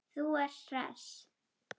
Þú ert hress!